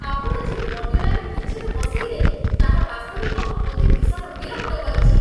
ଆପଣ ଯେଉଁ modular kitchen ବସେଇଦେଲେ, ତାହା ବାସ୍ତବିକ ମୋତେ ଭୀଷଣ ବିରକ୍ତ କରିଛି।